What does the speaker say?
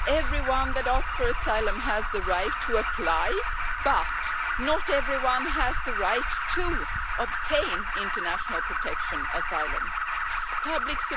Everyone that asks for asylum has the right to apply, but not everyone has the right to obtain international protection Public